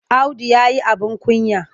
Audu ya yi abin kunya.